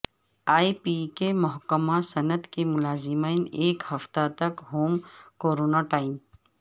اے P کے محکمہ صنعت کے ملازمین ایک ہفتہ تک ہوم کورنٹائن